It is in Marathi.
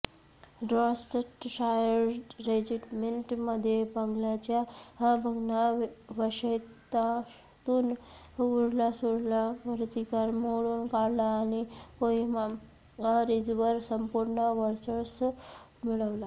डॉर्सेटशायर रेजिमेंटने बंगल्याच्या भग्नावशेषातून उरलासुरला प्रतिकार मोडून काढला आणि कोहिमा रिजवर संपूर्ण वर्चस्व मिळवले